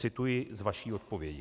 Cituji z vaší odpovědi.